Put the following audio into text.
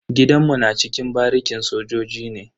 Gidanmu na cikin barikin sojoji ne.